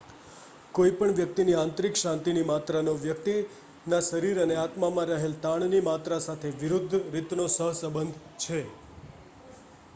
કોઈ પણ વ્યક્તિની આંતરિક શાંતિની માત્રાનો વ્યકિતના શરીર અને આત્મામાં રહેલ તાણની માત્રા સાથે વિરુદ્ધ રીતનો સહસંબંધ છે